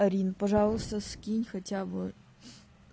арин пожалуйста скинь хотя бы